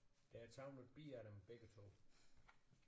Der er taget en bid af dem begge 2